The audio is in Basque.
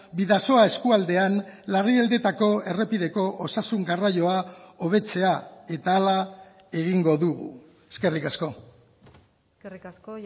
bidasoa eskualdean larrialdietako errepideko osasun garraioa hobetzea eta hala egingo dugu eskerrik asko eskerrik asko